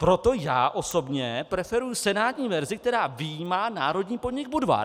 Proto já osobně preferuji senátní verzi, která vyjímá národní podnik Budvar.